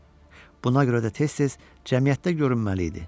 Buna görə də tez-tez cəmiyyətdə görünməli idi.